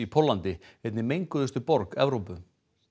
Póllandi einni menguðustu borg Evrópu